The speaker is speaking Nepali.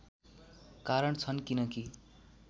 कारण छन् किनकि